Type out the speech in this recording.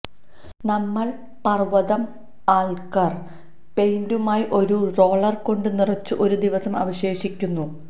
നമ്മൾ പർവതം ആൽക്കർ പെയിന്റുമായി ഒരു റോളർ കൊണ്ട് നിറച്ച് ഒരു ദിവസം അവശേഷിക്കുന്നു